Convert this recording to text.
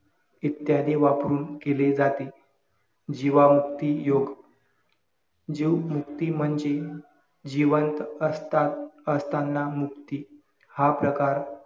इत्यादी वापरून केले जाते. जीवामुक्ती योग्य जीव मुक्ती म्हणजे जिवंत असतात असताना मुक्ती. हा प्रकार